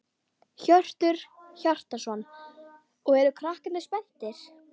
Hjörtur Hjartarson: Og eru krakkarnir spenntir?